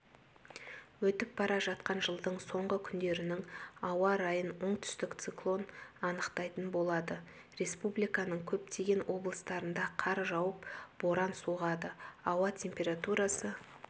өтіп бара жатқан жылдың соңғы күндерінің ауа райын оңтүстік циклон анықтайтын болады республиканың көптеген облыстарында қар жауып боран соғады ауа температурасы